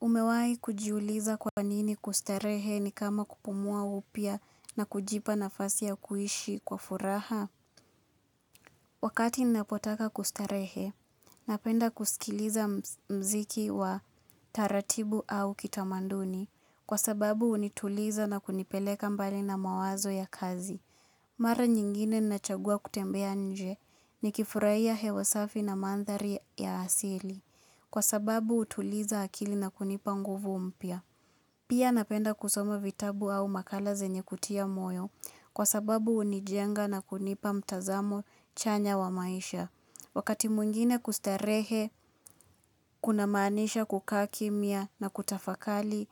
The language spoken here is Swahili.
Umewai kujiuliza kwa nini kustarehe ni kama kupumua upya na kujipa nafasi ya kuishi kwa furaha? Wakati ninapotaka kustarehe, napenda kusikiliza muziki wa taratibu au kitamaduni. Kwa sababu hunituliza na kunipeleka mbali na mawazo ya kazi. Mara nyingine ninachagua kutembea nje nikifurahia hewa safi na mandhari ya asili. Kwa sababu hutuliza akili na kunipa nguvu mpya. Pia napenda kusoma vitabu au makala zenye kutia moyo kwa sababu hunijenga na kunipa mtazamo chanya wa maisha. Wakati mwingine kustarehe, kuna maanisha kukaa kimya na kutafakari,